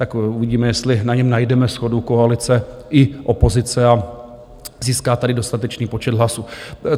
Tak uvidíme, jestli na něm najdeme shodu koalice i opozice a získá tady dostatečný počet hlasů.